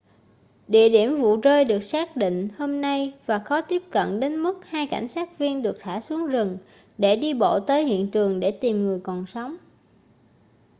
địa điểm vụ rơi được xác định hôm nay và khó tiếp cận đến mức hai cảnh sát viên được thả xuống rừng để đi bộ tới hiện trường để tìm người còn sống